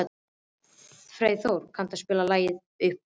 Freyþór, kanntu að spila lagið „Uppboð“?